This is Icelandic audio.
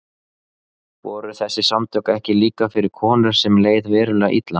Voru þessi samtök ekki líka fyrir konur sem leið verulega illa?